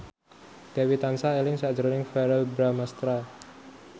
Dewi tansah eling sakjroning Verrell Bramastra